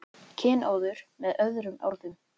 Kynóður með öðrum orðum.